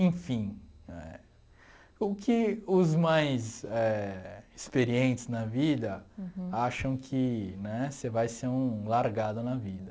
Enfim... O que os mais éh experientes na vida acham que né você vai ser um largado na vida.